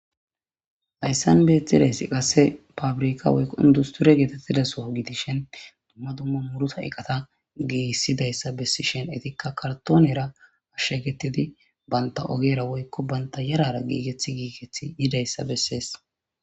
Hayssan beetidayssi qasse fabrika oindusture geetettidaso gidishen dumma dumma muruta eqata giissidayssa bessishen etikka kartoonera ashshe gettidi banta ogera woykko banta yarara giigethi giigethi yidayssa bessees.